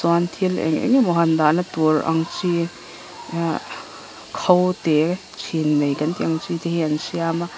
chuan thil eng engemaw han dahna tur ang chi ahh kho te chhin nei kan tih ang chi te hi an siam a--